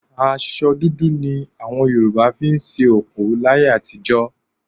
Aṣọ dúdú ni àwọn Yorùbá fi ń sin òkú láyé àtijọ́